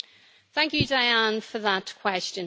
Thank you, Diane, for that question.